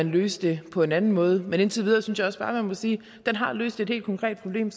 løse det på en anden måde men indtil videre synes jeg også bare man må sige at den har løst et helt konkret problem